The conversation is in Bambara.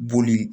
Boli